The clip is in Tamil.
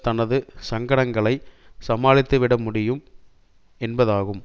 தனது சங்கடங்களை சமாளித்து விட முடியும் என்பதாகும்